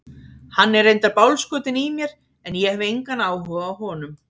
Hann er reyndar bálskotinn í mér en ég hef engan áhuga á honum.